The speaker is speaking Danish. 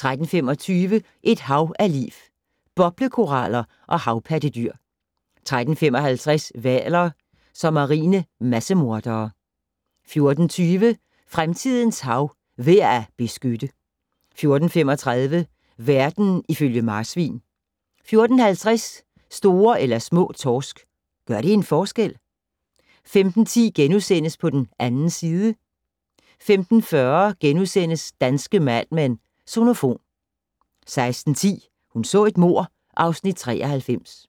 13:25: Et hav af liv - Boblekoraller og havpattedyr 13:55: Hvaler som marine massemordere 14:20: Fremtidens hav - værd at beskytte 14:35: Verden ifølge marsvin 14:50: Store eller små torsk - gør det en forskel? 15:10: På den 2. side * 15:40: Danske Mad Men: Sonofon * 16:10: Hun så et mord (Afs. 93)